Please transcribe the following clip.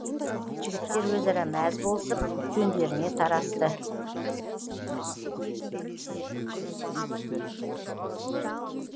жігіттер өзара мәз болысып жөндеріне тарасты